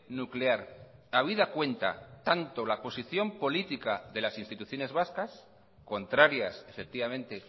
nuclear habida cuenta tanto la posición política de las instituciones vascas contrarias efectivamente